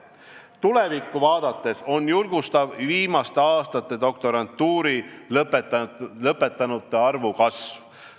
Tulevikku vaadates on julgustav viimaste aastate doktorantuuri lõpetanute arvu kasv.